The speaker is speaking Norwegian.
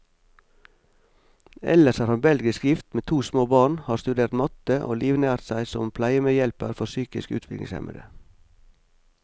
Ellers er han belgisk gift, med to små barn, har studert matte, og livnært seg som pleiemedhjelper for psykisk utviklingshemmede.